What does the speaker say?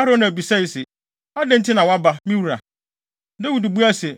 Arauna bisae se, “Adɛn nti na woaba, me wura?” Dawid buae se,